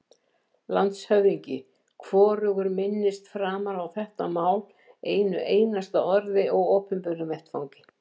LANDSHÖFÐINGI: Hvorugur minnist framar á þetta mál einu einasta orði á opinberum vettvangi.